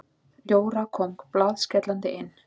Jóra kom blaðskellandi inn.